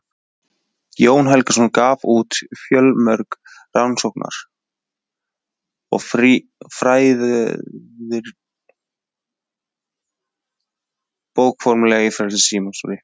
Jón Helgason gaf út fjölmörg rannsóknar- og fræðirit í bókarformi á ferli sínum.